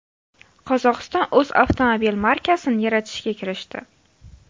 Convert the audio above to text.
Qozog‘iston o‘z avtomobil markasini yaratishga kirishdi.